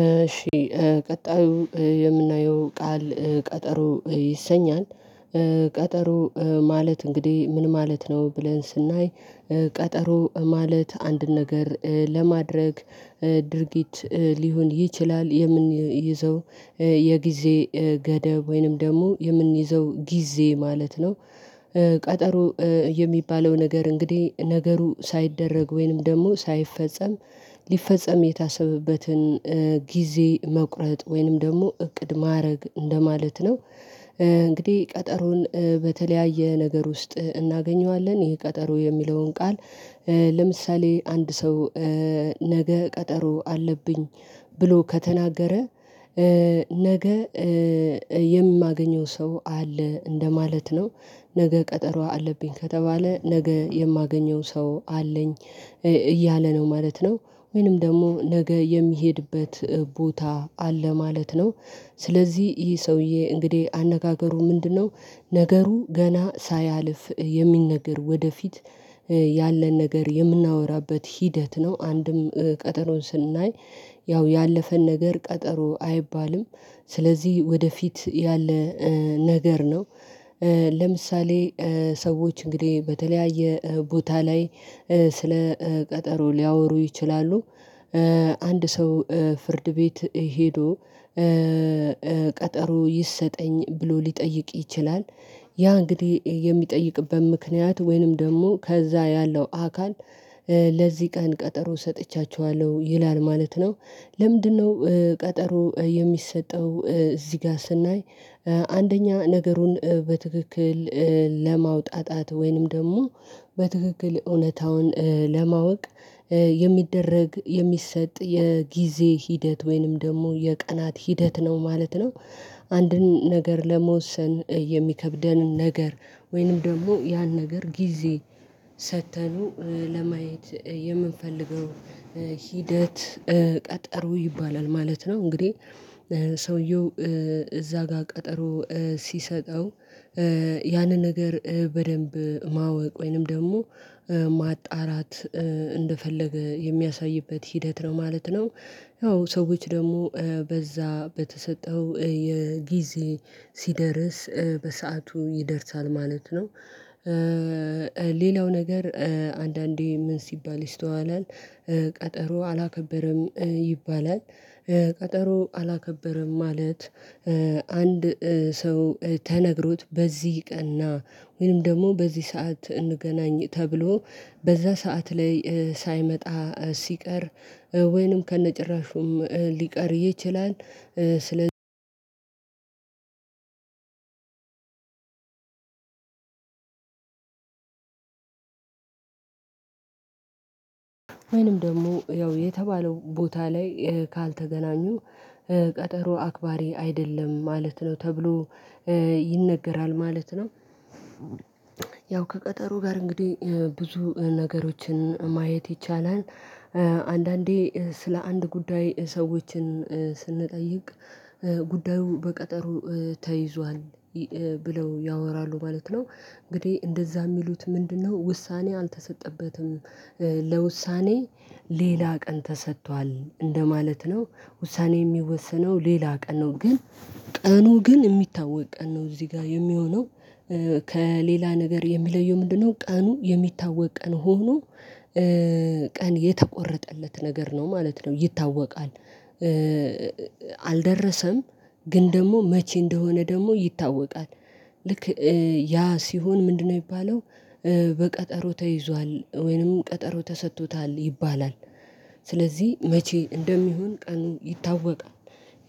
እሺ ቀጣዩ የምናየው ቃል ቀጠሮ ይሰኛል። ቀጠሮ ማለት እንግዲህ ምን ማለት ነው? ብለን ስናይ ቀጠሮ ማለት አንድ ነገር ለማድረግ ድርጊት ሊሆን ይችላል የምንይዘው የጊዜ ገደብ ወይንም ደግሞ የምንይዘው ጊዜ ማለት ነው። ቀጠሮ የሚባለው ነገር እንግዲህ ነገሩ ሳይደረግ ወይንም ደግሞ ሳይፈጸም ሊፈጸም የታሰበበትን ጊዜ መቁረጥ ወይንም ደግሞ እቅድ ማድረግ እንደማለት ነው። እንግዲህ ቀጠሮን በተለያየ ነገር ውስጥ እናገኘዋለን ይሄ ቀጠሮ የሚለውን ቃል ለምሳሌ አንድ ሰው ነገ ቀጠሮ አለብኝ ብሎ ከተናገረ ነገ የማገኘው ሰው አለ እንደማለት ነው። ነገ ቀጠሮ አለብኝ ከተባለ ነገ የማገኘው ሰው አለኝ እያለ ነው ማለት ነው ወይንም ደግሞ ነገ የሚሄድበት ቦታ አለ ማለት ነው። ስለዚህ ይህ ሰውዬ እንግዲህ አነጋገሩ ምንድነው? ነገሩ ገና ሳያልፍ የሚነገር ወደፊት ያለን ነገር የምናወራበት ሂደት ነው አንድም ቀጠሮውን ስናይ ያው ያለፈን ነገር ቀጠሮ አይባልም ስለዚህ ወደፊት ያለ ነገር ነው። ለምሳሌ ሰዎች እንግዲህ በተለያየ ቦታ ላይ ስለ ቀጠሮ ሊያወሩ ይችላሉ። አንድ ሰው ፍርድ ቤት ሄዶ ቀጠሮ ይሰጠኝ ብሎ ሊጠይቅ ይችላል። ያ እንግዲህ የሚጠይቅበት ምክንያት ወይንም ደግሞ ከዚያ ያለው አካል ለዚህ ቀን ቀጠሮ ሰጥቻችኋለሁ ይላል ማለት ነው። ለምንድነው ቀጠሮ የሚሰጠው እዚህ ጋር ስናይ አንደኛ ነገሩን በትክክል ለማውጣት ወይንም ደግሞ በትክክል እውነታውን ለማወቅ የሚደረግ የሚሰጥ የጊዜ ሂደት ወይንም ደግሞ የቀናት ሂደት ነው ማለት ነው። አንድን ነገር ለመወሰን የሚከብደንን ነገር ወይንም ደግሞ ያን ነገር ጊዜ ሰጥተኑ ለማየት የምንፈልገው ሂደት ቀጠሮ ይባላል ማለት ነው። እንግዲህ ሰውየው እዚያ ጋር ቀጠሮ ሲሰጠው ያንን ነገር በደንብ ማወቅ ወይንም ደግሞ ማጣራት እንደፈለገ የሚያሳይበት ሂደት ነው ማለት ነው። ያው ሰዎች ደግሞ በዚያ በተሰጠው የጊዜ ሲደርስ በሰአቱ ይደርሳል ማለት ነው። ሌላው ነገር አንዳንዴ ምን ሲባል ይስተዋላል ቀጠሮ አላከበረም ይባላል። ቀጠሮ አላከበረም ማለት አንድ ሰው ተነግሮት በዚህ ቀን ና ወይም ደግሞ በዚህ ሰዓት እንገናኝ ተብሎ በዚያ ሰዓት ላይ ሳይመጣ ሲቀር ወይንም ከነጭራሹም ሊቀር ይችላል። ስለዚህ ወይንም ደግሞ ያው የተባለው ቦታ ላይ ካልተገናኙ ቀጠሮ አክባሪ አይደለም ማለት ነው ተብሎ ይነገራል ማለት ነው። ያው ከቀጠሮ ጋር እንግዲህ ብዙ ነገሮችን ማየት ይቻላል አንዳንዴ ስለ አንድ ጉዳይ ሰዎችን ስንጠይቅ ጉዳዩ በቀጠሩ ተይዟል ብለው ያወራሉ ማለት ነው። እንግዲህ እንደዚያ የሚሉት ምንድነው? ውሳኔ አልተሰጠበትም ለውሳኔ ሌላ ቀን ተሰጥቷል እንደማለት ነው። ውሳኔ የሚወስነው ሌላ ቀን ነው ግን ቀኑ ግን የሚታወቅ ቀን ነው እዚህ ጋር የሚሆነው ከሌላ ነገር የሚለየው ምንድነው? ቀኑ የሚታወቅ ቀን ሆኖ ቀን የተቆረጠለት ነገር ነው ማለት ነው ይታወቃል። አልደረሰም ግን ደግሞ መቼ እንደሆነ ደግሞ ይታወቃል። ልክ ያ ሲሆን ምንድነው የሚባለው? በቀጠሮ ተይዟል ወይንም ቀጠሮ ተሰጥቶታል ይባላል። ስለዚህ መቼ እንደሚሆን ቀኑ ይታወቃል።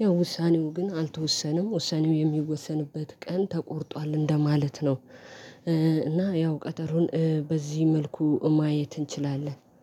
ያው ውሳኔው ግን አልተወሰነም ውሳኔው የሚወሰንበት ቀን ተቆርጧል እንደማለት ነው። እና ያው ቀጠሮን በዚህ መልኩ ማየት እንችላለን